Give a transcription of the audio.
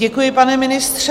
Děkuji, pane ministře.